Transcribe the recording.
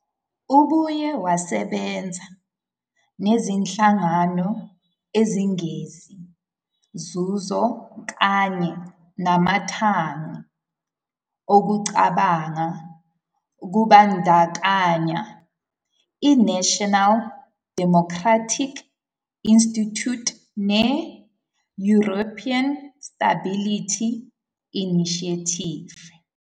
Ubuye wasebenza nezinhlangano ezingenzi nzuzo kanye namathangi okucabanga kubandakanya iNational Democratic Institute ne- European Stability Initiative.